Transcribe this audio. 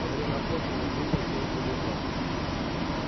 во время охоты его грудь пробила пуля-игла